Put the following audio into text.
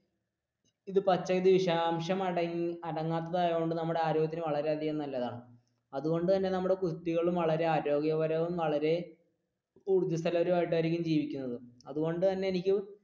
അടങ്ങാത്തതുകൊണ്ടു നമ്മുടെ ആരോഗ്യത്തിനു വളരെയധികം നല്ലതാണ് അതുകൊണ്ടു തന്നെ നമ്മുടെ കുട്ടികളും വളരെ ആരോഗ്യപരവും വളരെ ഊർജസ്വലർ ആയിട്ടായിരിക്കും ജീവിക്കുന്നത് അതുകൊണ്ടു തന്നെ എനിക്ക്